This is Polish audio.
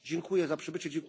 Dziękuję za przybycie!